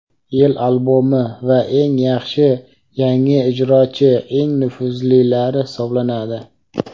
"Yil albomi" va " Eng yaxshi yangi ijrochi" eng nufuzlilari hisoblanadi.